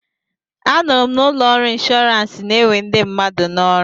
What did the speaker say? Anụrụ m na ụlọ ọrụ inshọransị na-ewe ndị mmadụ n'ọrụ.